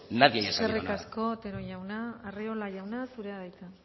nadie haya sabido nada eskerrik asko otero jauna arriola jauna zurea da hitza